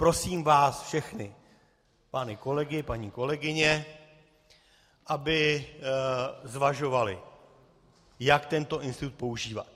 Prosím vás všechny, pány kolegy, paní kolegyně, aby zvažovali, jak tento institut používat.